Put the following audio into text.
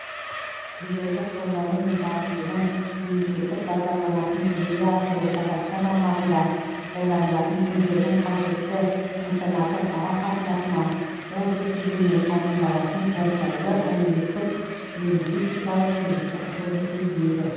тілдерді қолдану мен дамытудың мемлекеттік бағдарламасын жүзеге асыру қазақстан аумағында қолданылатын тілдердің қажетті функционалдық ара қатынасына қол жеткізумен айқындалатын оңтайлы әлеуметтік лингвистикалық кеңістік құруды көздейді